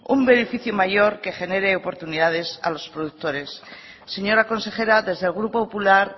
un beneficio mayor que genere oportunidades a los productores señora consejera desde el grupo popular